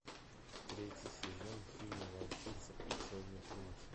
третий сезон фильма волчица и черный принц